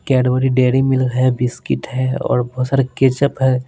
Cadbury dairy milk है biscuit है और बहुत सारे केचप है।